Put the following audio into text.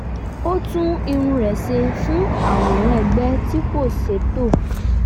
ó tún irun rẹ̀ ṣe fún àwòrán ẹgbẹ́ tí kò ṣètò